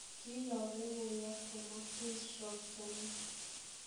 Kinyoong logowot komojin Shroff chemiach.